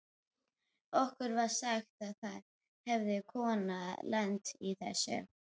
Okkur var sagt að það hefði kona lent í þessu.